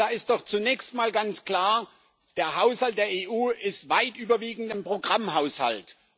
Und da ist doch zunächst mal ganz klar Der Haushalt der EU ist überwiegend ein Programmhaushalt.